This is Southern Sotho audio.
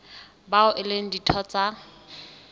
bao e leng ditho tsa